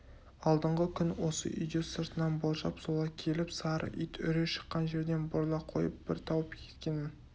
алдыңғы күн осы үйде сыртынан болжап солай келіп сары ит үре шыққан жерден бұрыла қойып бір тауып кеткенмін